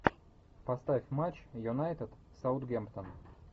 поставь матч юнайтед саутгемптон